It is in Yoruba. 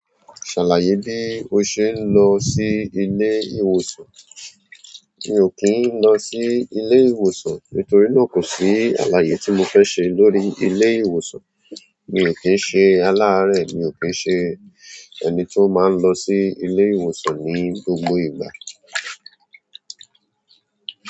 "Ṣàlàyé bí o ṣe ń lọ sí ilé ìwòsàn." Mi ò kí ń lọ sí ilé ìwòsàn nítorí náà kò sí àlàyé tí mo fẹ́ ṣe lórí ilé ìwòsàn. Mi ò kí ń ṣe aláárẹ̀, mi ò kí ń ṣe ẹni tí ó máa ń lọ sí ilé ìwòsàn ní gbogbo ìgbà.